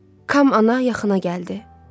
Kam ana yaxına gəldi.